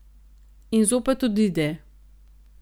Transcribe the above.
In zopet odide.